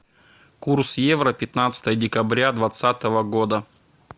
курс евро пятнадцатое декабря двадцатого года